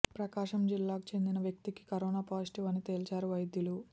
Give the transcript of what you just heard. ప్రకాశం జిల్లాకు చెందిన వ్యక్తికి కరోనా పాజిటివ్ అని తేల్చారు వైద్యులు